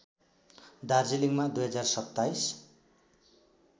दार्जीलिङमा २०२७